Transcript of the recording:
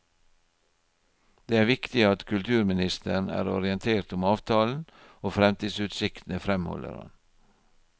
Det er viktig at kulturministeren er orientert om avtalen og fremtidsutsiktene, fremholder han.